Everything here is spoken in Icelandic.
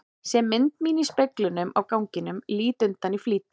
Sé mynd mína í speglinum á ganginum, lít undan í flýti.